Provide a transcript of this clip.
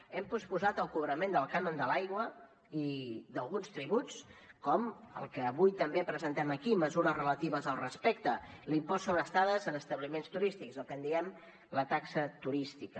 hem posposat el cobrament del cànon de l’aigua i d’alguns tributs com el que avui també presentem aquí mesures relatives al respecte l’impost sobre estades en establiments turístics el que en diem la taxa turística